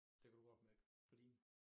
Det kan du godt mærke på dine